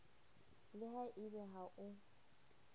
le ha ebe ha o